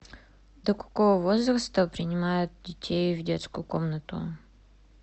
до какого возраста принимают детей в детскую комнату